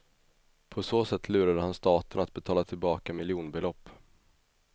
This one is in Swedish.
På så sätt lurade han staten att betala tillbaka miljonbelopp.